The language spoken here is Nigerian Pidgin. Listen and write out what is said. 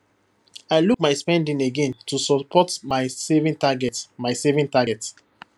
i look my spending again to support my saving target my saving target